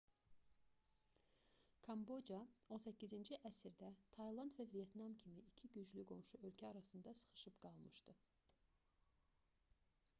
kamboca 18-ci əsrdə tayland və vyetnam kimi iki güclü qonşu ölkə arasında sıxışıb qalmışdı